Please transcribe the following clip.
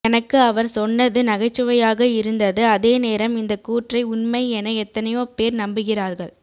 எனக்கு அவர் சொன்னது நகைச்சுவையாக இருந்தது அதே நேரம் இந்த கூற்றை உண்மை என எத்தனையோ பேர் நம்புகிறார்கள்